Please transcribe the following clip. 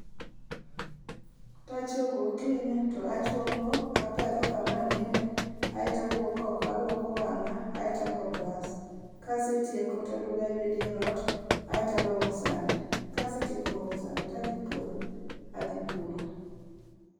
Ka achiewo gokinyi to, apedho kama aninde, aeto awuok oko, alwoko wangá, aeto ago brus, kasetiko, taduogo aywe dier ot, aeto alwoko sande. Kasetieko lwoko sande tadhi puodho, adhi puro.